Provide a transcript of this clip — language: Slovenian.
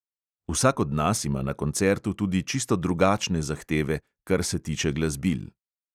Vsak od nas ima na koncertu tudi čisto drugačne zahteve, kar se tiče glasbil.